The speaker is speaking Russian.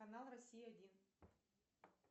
канал россия один